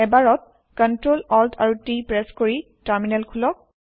এবাৰত Ctrl Alt আৰু T press কৰি টাৰমিনেল খোলক